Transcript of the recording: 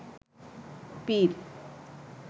পীর